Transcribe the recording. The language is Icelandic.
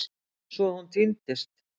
Svo hún týndist.